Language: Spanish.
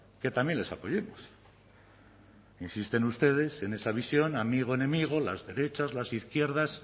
que también les apoyemos insisten ustedes en esa visión amigo enemigo las derechas las izquierdas